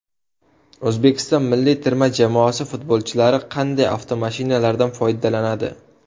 O‘zbekiston milliy terma jamoasi futbolchilari qanday avtomashinalardan foydalanadi?